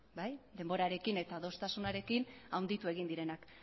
bai denborarekin eta adostasunarekin handitu egin direnak